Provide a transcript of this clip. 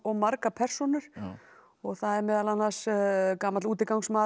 margar persónur það er meðal annars gamall